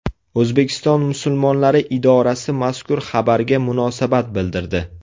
O‘zbekiston musulmonlari idorasi mazkur xabarga munosabat bildirdi .